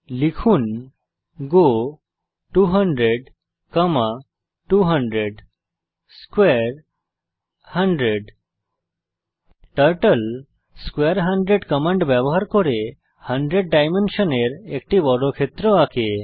লিখুন গো 200200 স্কোয়ারে 100 টার্টল স্কোয়ারে 100 কমান্ড ব্যবহার করে 100 ডাইমেনশনের একটি বর্গক্ষেত্র আঁকে